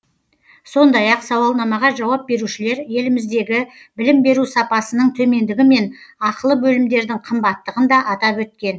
сондай ақ сауалнамаға жауап берушілер еліміздегі білім беру сапасының төмендігі мен ақылы бөлімдердің қымбаттығын да атап өткен